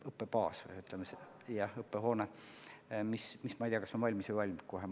– õppebaas või, jah, õppehoone, mis kas on valmis või valmib kohe.